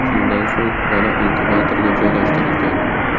Shundan so‘ng bola inkubatorga joylashtirilgan.